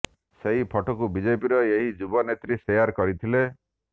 ସେହି ଫଟୋକୁ ବିଜେପିର ଏହି ଯୁବ ନେତ୍ରୀ ଶେୟାର କରିଥିଲେ